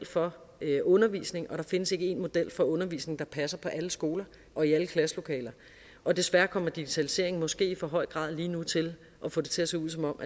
for undervisning og der findes ikke én model for undervisning der passer på alle skoler og i alle klasselokaler og desværre kommer digitaliseringen måske i for høj grad lige nu til at få det til at se ud som